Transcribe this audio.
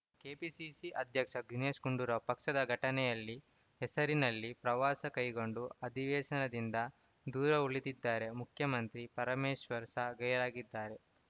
KPCC ಅಧ್ಯಕ್ಷ ದಿನೇಶ್‌ ಗುಂಡೂರಾವ್‌ ಪಕ್ಷದ ಸಂಘಟನೆಯಲ್ಲಿ ಹೆಸರಿನಲ್ಲಿ ಪ್ರವಾಸ ಕೈಗೊಂಡು ಅಧಿವೇಶನದಿಂದ ದೂರ ಉಳಿದಿದ್ದಾರೆ ಉಪಮುಖ್ಯಮಂತ್ರಿ ಪರಮೇಶ್ವರ್‌ ಸಹ ಗೈರಾಗಿದ್ದರು